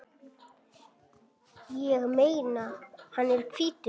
Ég meina, hann er hvítur!